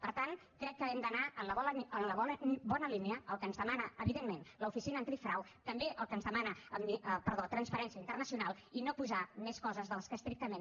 per tant crec que hem d’anar en la bona línia el que ens demana evidentment l’oficina antifrau també el que ens demana transparència internacional i no posar més coses de les que estrictament